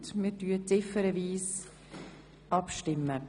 Wir stimmen ziffernweise ab.